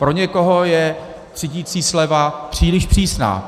Pro někoho je třídicí sleva příliš přísná.